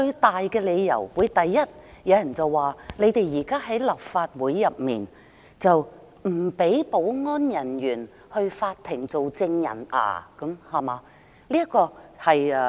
有人會說，主因是立法會內有人不容許保安人員到法庭做證人，對嗎？